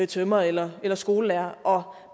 tømrere eller eller skolelærere og